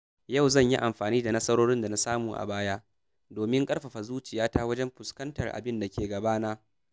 Yau zan yi amfani da nasarorin da na samu a baya domin ƙarfafa zuciyata wajen fuskantar abinda ke gabana.